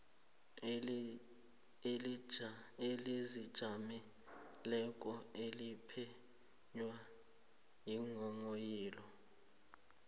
elizijameleko eliphenya iinghonghoyilo